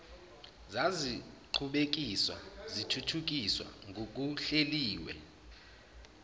zaziqhubekiswa zithuthukiswa ngokuhleliwe